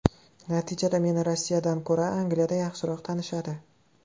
Natijada meni Rossiyadan ko‘ra Angliyada yaxshiroq tanishadi.